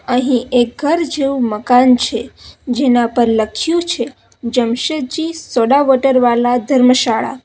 અહીં એક ઘર જેવું મકાન છે જેના પર લખ્યું છે જમશેદજી સોડાવોટર વાલા ધર્મશાળા.